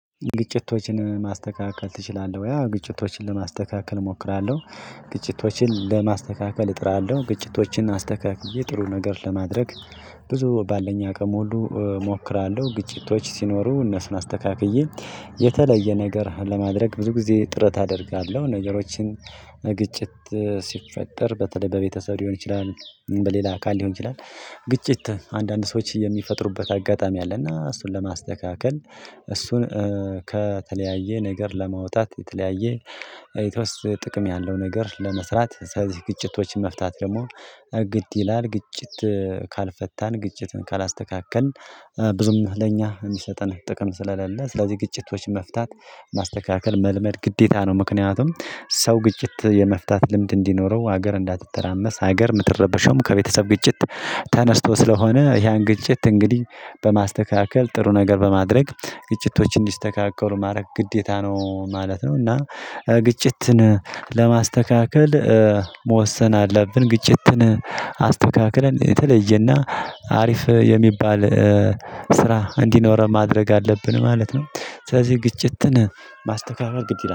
ግጭቶችን ማስተካከል ትችላለህ ወይ? አዎ ግጭቶችን ለማስተካከል እሞክራለሁ። ግጭቶችን ለማስተካከል እጥራለሁ ግጭቶችን አስተካክዬ ጥሩ ነገር ለማድረግ። ብዙ ባለኛ አቅም ሁሉ እሞክራለሁ ግጭቶች ሲኖሩ እነሱን አስተካክዬ። የተለየ ነገር ለማድረግ ብዙ ጊዜ ጥረት አደርጋለሁ ነገሮችን። ግጭት ሲፈጠር በተለይ በቤተሰብ ሊሆን ይችላል በሌላ አካል ሊሆን ይችላል። ግጭት አንዳንድ ሰዎች የሚፈጥሩበት አጋጣሚ አለ እና እሱን ለማስተካከል። እሱን ከተለያየ ነገር ለማውጣት የተለያየ ኤቶስ ጥቅም ያለው ነገር ለመስራት ስለዚህ ግጭቶችን መፍታት ደግሞ ግድ ይላል። ግጭት ካልፈታን ግጭትን ካላስተካከልን ብዙም ለኛ የሚሰጠን ጥቅም ስለሌለ ስለዚህ ግጭቶች መፍታት ማስተካከል መልመድ ግዴታ ነው። ምክንያቱም ሰው ግጭት የመፍታት ልምድ እንዲኖረው ሀገር እንዳትተራመስ ሀገር የምትረበሸውም ከቤተሰብ ግጭት። ተነስቶ ስለሆነ ያን ግጭት እንግዲህ በማስተካከል ጥሩ ነገር በማድረግ ግጭቶችን እንዲስተካከሉ ማድረግ ግዴታ ነው ማለት ነው። እና ግጭትን ለማስተካከል መወሰን አለብን። ግጭትን አስተካክለን የተለየና አሪፍ የሚባል ስራ እንዲኖረን ማድረግ አለብን ማለት ነው። ስለዚህ ግጭትን ማስተካከል ግድ ይላል